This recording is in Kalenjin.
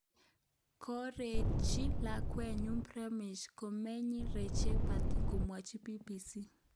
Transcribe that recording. korosich lakwenyun Pramesh,"kamenyin Rajashree Patil komwochi BBC